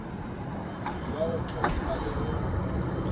wa go ntlhompha le go